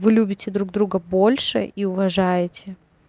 вы любите друг друга больше и уважаете